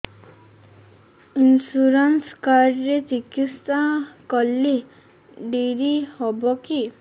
insurance card ରେ ଚିକିତ୍ସା କଲେ ଡେରି ହବକି